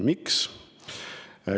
Miks?